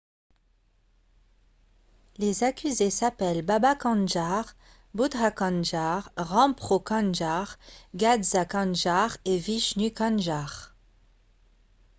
les accusés s'appellent baba kanjar bhutha kanjar rampro kanjar gaza kanjar et vishnu kanjar